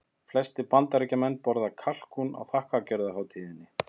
Flestir Bandaríkjamenn borða kalkún á þakkargjörðarhátíðinni.